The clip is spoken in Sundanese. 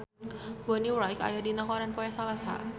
Bonnie Wright aya dina koran poe Salasa